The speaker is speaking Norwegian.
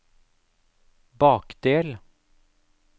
bakdel